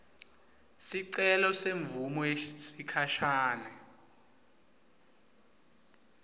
sicelo semvumo yesikhashane